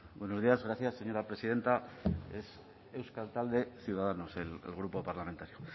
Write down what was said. buenos días gracias señora presidenta es euskal talde popularra ciudadanos el grupo parlamentario